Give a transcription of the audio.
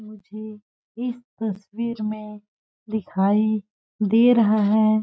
मुझे इस तस्वीर में दिखाई दे रहा है।